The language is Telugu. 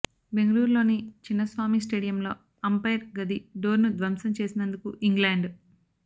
బెంగళూరులోని చిన్నస్వామి స్టేడియంలో అంపైర్ గది డోర్ను ధ్వంసం చేసినందుకు ఇంగ్లాండ్